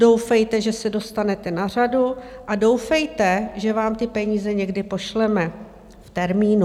Doufejte, že se dostanete na řadu, a doufejte, že vám ty peníze někdy pošleme v termínu.